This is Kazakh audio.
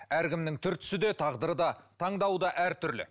әркімнің түр түсі де тағдыры да таңдауы да әртүрлі